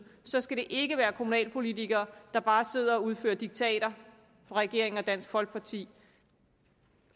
så skal det ikke være kommunalpolitikere der bare sidder og udfører diktater fra regeringen og dansk folkeparti